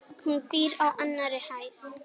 Hún býr á annarri hæð.